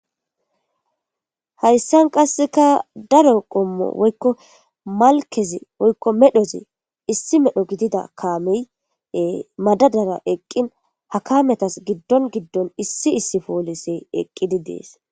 hayssan qasseka daro qommo woykko malkezi woykko medhozi issi medho gidida kaameye madadara eqqin ha kametas giddon giddon issi issi poolisey eqqidi dees